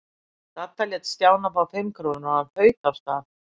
Dadda lét Stjána fá fimm krónur og hann þaut af stað.